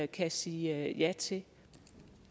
kan sige ja til